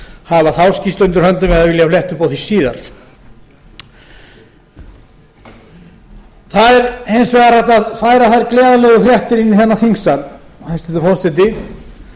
hafa þá skýrslu undir höndum eða vilja fletta upp á því síðar það er hins vegar hægt að færa þær gleðilegu fréttir inn í þennan þingsal hæstvirtur forseti